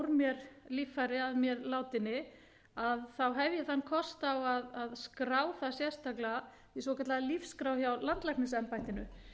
mér líffæri að mér látinni hef ég þann kost að skrá það sérstaklega í svokallaða lífsskrá hjá landlæknisembættinu